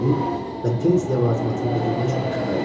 Cinni dedi və tenis ləvazimatını götürmək üçün aşağı əyildi.